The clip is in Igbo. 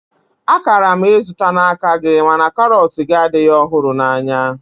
A kara m izụta n'aka gị mana karọt gị adịghị ọhụrụ na anya